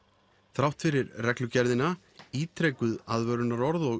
þrátt fyrir reglugerðina ítrekuð aðvörunarorð og